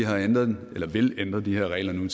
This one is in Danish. vil ændre de her regler nu